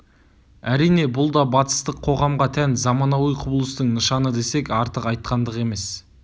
әрине бұл да батыстық қоғамға тән заманауи құбылыстың нышаны десек артық айтқандық емес